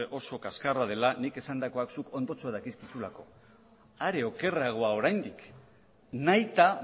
oso kaxkarra dela nik esandakoa zuk ondotxo dakizkizulako are okerragoa oraindik nahita